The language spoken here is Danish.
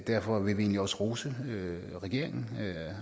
derfor vil vi egentlig også rose regeringen